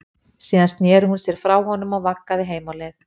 Síðan sneri hún sér frá honum og vaggaði heim á leið.